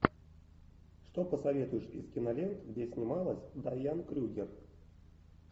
что посоветуешь из кинолент где снималась дайан крюгер